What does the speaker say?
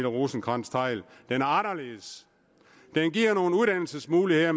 rosenkrantz theil den er anderledes den giver nogle uddannelsesmuligheder